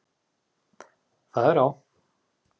Það er á